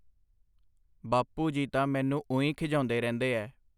ਬਾਪੂ ਜੀ ਤਾਂ ਮੈਨੂੰ ਉਈ ਖਿਝਾਉਂਦੇ ਰਹਿੰਦੇ ਐ.